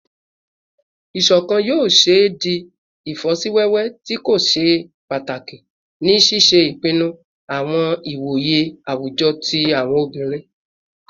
Iṣọkan yoo ṣee di ifosiwewe ti ko ṣe pataki ni ṣiṣe ipinnu awọn iwoye awujọ ti awọn obinrin